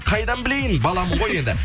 қайдан білейін баламын ғой енді